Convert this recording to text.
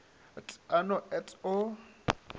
t a no et o